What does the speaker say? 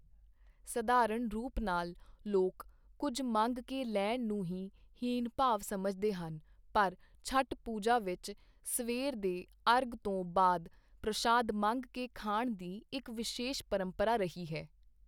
ਸਧਾਰਣ ਰੂਪ ਨਾਲ ਲੋਕ ਕੁਝ ਮੰਗ ਕੇ ਲੈਣ ਨੂੰ ਹੀ ਹੀਣ ਭਾਵ ਸਮਝਦੇ ਹਨ ਪਰ ਛਠ ਪੂਜਾ ਵਿੱਚ ਸਵੇਰ ਦੇ ਅਰਘ ਤੋਂ ਬਾਅਦ ਪ੍ਰਸ਼ਾਦ ਮੰਗ ਕੇ ਖਾਣ ਦੀ ਇੱਕ ਵਿਸ਼ੇਸ਼ ਪ੍ਰੰਪਰਾ ਰਹੀ ਹੈ।